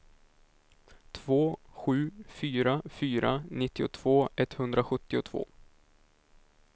två sju fyra fyra nittiotvå etthundrasjuttiotvå